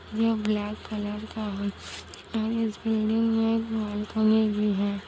ये black colour का है और इस बिल्डिंग में एक बालकनी भी है।